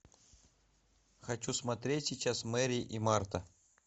хочу смотреть сейчас мэри и марта